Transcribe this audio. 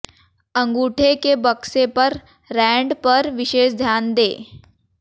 अंगूठे के बक्से पर रैंड पर विशेष ध्यान दें